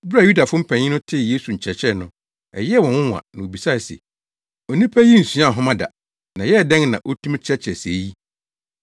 Bere a Yudafo mpanyin no tee Yesu nkyerɛkyerɛ no, ɛyɛɛ wɔn nwonwa na wobisae se, “Onipa yi nsuaa nhoma da, na ɛyɛɛ dɛn na otumi kyerɛkyerɛ sɛɛ yi?”